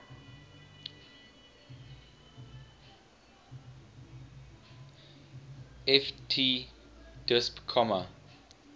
ft disp comma